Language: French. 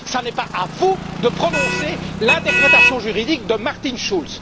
Ce n'est pas à vous de prononcer l'interprétation juridique de Martin Schulz.